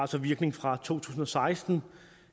så virkning fra to tusind og seksten